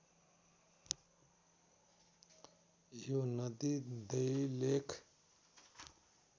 यो नदी दैलेख